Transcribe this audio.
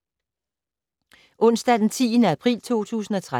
Onsdag d. 10. april 2013